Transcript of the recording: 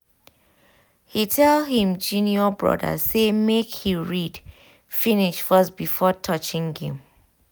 he tell him junior brother say make he read finish first before touching game